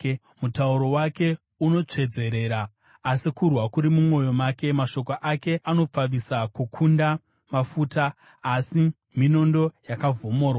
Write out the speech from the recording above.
Mutauro wake unotsvedzerera samafuta, asi kurwa kuri mumwoyo make; mashoko ake anopfavisa kukunda mafuta, asi minondo yakavhomorwa.